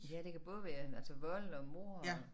Ja det kan både være altså vold og mord og